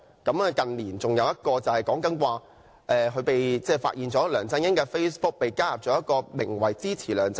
另一個例子是，近年梁振英的 Facebook 帳戶被發現加入了一個名為"支持梁振英！